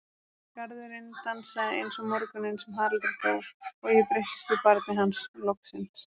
Garðurinn dansaði eins og morguninn sem Haraldur dó og ég breyttist í barnið hans, loksins.